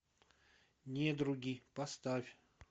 недруги поставь